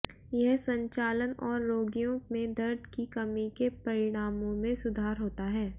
यह संचालन और रोगियों में दर्द की कमी के परिणामों में सुधार होता है